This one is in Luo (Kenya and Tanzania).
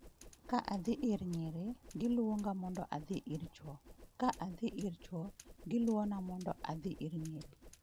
Ka adhi ir nyiri, giluonga mondo adhi ir chwo, ka adhi ir chwo, giluona mondo adhi ir nyiri."